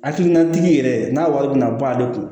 Hakilinatigi yɛrɛ n'a wari bɛna bɔ ale kun